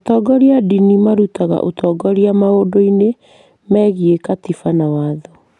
Atongoria a ndini marutaga ũtongoria maũndũ-inĩ megiĩ katiba na watho.